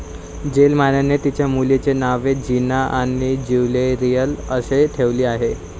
थेलमाने तिच्या मुलींची नावे जीना आणि ज्युरियल अशी ठेवली आहेत.